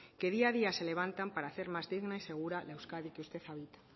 que día a día se levantan para hacer más digna y más segura la euskadi que usted habita